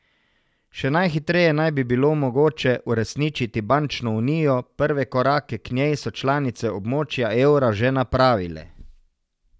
Še najhitreje naj bi bilo mogoče uresničiti bančno unijo, prve korake k njej so članice območja evra že napravile.